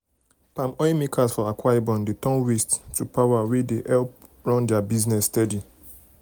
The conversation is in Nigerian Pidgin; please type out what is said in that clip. palm oil makers for akwa ibom dey turn waste to power wey help them run their business steady.